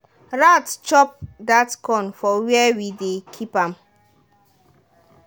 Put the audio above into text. rat chop that corn for where we dey keep am.